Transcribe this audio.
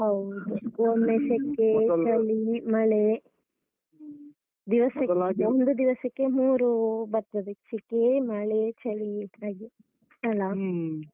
ಹೌದು ಒಮ್ಮೆ ಸೆಕೆ ಚಳಿ ಮಳೆ. ಒಂದು ದಿವಸಕ್ಕೆ ಮೂರು ಬರ್ತದೆ ಸೆಕೆ ಮಳೆ ಚಳಿ ಹಾಗೆ.